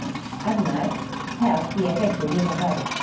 Annars hef ég ekki víða farið.